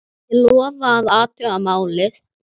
Ég lofa að athuga málið.